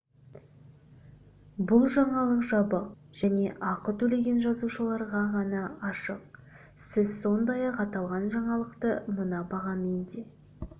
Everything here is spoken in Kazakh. бұл жаңалық жабық және ақы төлеген жазылушыларға ғана ашық сіз сондай-ақ аталған жаңалықты мына бағамен де